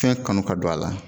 Fɛn kanu ka don a la